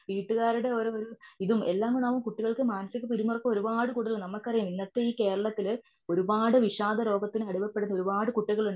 വീട്ടുകാരുടെ ഓരോരു ഇതും എല്ലാകുടാവുമ്പോൾ കുട്ടികൾക്ക് മാനസീക പിരിമുറുക്കം ഒരുപാടു കൂടുതൽ ആണ് നമുക്കറിയാം ഇന്നത്തെ ഇ കേരളത്തില് ഒരുപാട് വിഷാദരോഗത്തിന് അടിമപ്പെടുന്ന ഒരുപാട് കുട്ടികളുണ്ട്.